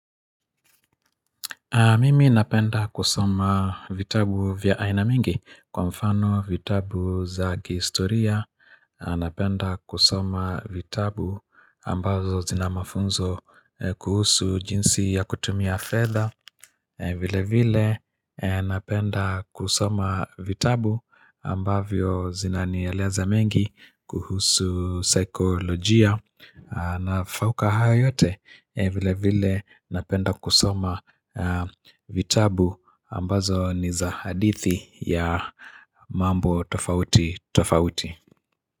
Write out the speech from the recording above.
Mimi napenda kusoma vitabu vya aina mingi, kwa mfano vitabu za ki historia Napenda kusoma vitabu ambazo zina mafunzo kuhusu jinsi ya kutumia fetha, vile vile napenda kusoma vitabu ambavyo zinanieleza mengi kuhusu saikolojia na fauka hayo yote, vile vile napenda kusoma vitabu ambazo ni za hadithi ya mambo tofauti tofauti.